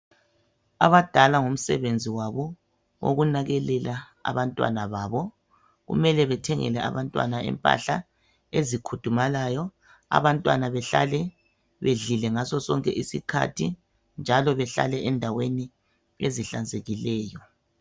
Abadala ngomsebenzi wabo wokunakekela abantwana kumele babathengele impahla ezikhudumalayo, bathole ukudla ngasosonke isikhathi njalo bahlale endaweni ezihlanzekileyo.